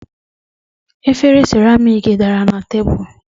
efere seramiiki dara na tebụl.